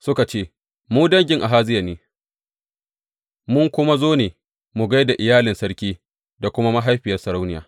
Suka ce, Mu dangin Ahaziya ne, mun kuma zo ne mu gai da iyalan sarki da kuma mahaifiyar sarauniya.